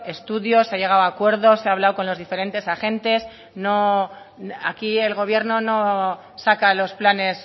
estudios se ha llegado a acuerdos se ha hablado con los diferentes agentes aquí el gobierno no saca los planes